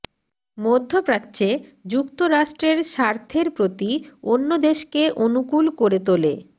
মধ্যপ্রাচ্যে যুক্তরাষ্ট্রের স্বার্থের প্রতি অন্য দেশকে অনুকূল করে তোলে